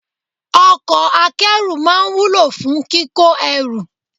Ọkọ̀ akẹ́rù máa ń wúlò fún kíkó ẹrù.